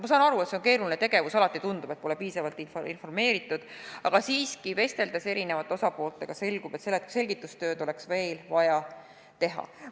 Ma saan aru, et see on keeruline tegevus, alati tundub, et pole piisavalt informeeritud, aga jah, vesteldes erinevate osapooltega on selgunud, et selgitustööd oleks veel vaja teha.